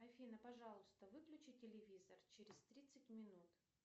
афина пожалуйста выключи телевизор через тридцать минут